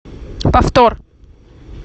повтор